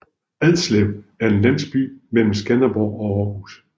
Adslev er en landsby mellem Skanderborg og Aarhus